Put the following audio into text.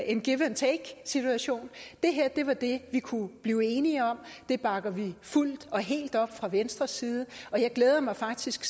en give and take situation det her var det vi kunne blive enige om det bakker vi fuldt og helt op om fra venstres side og jeg glæder mig faktisk